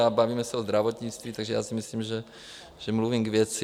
A bavíme se o zdravotnictví, takže já si myslím, že mluvím k věci.